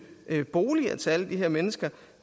boliger til alle de her mennesker